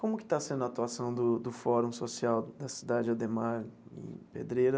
Como que está sendo a atuação do do Fórum Social da Cidade Ademar e Pedreira?